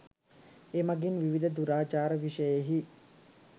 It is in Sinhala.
එමඟින් විවිධ දුරාචාර විෂයෙහි